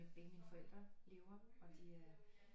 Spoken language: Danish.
Begge mine forældre lever og de er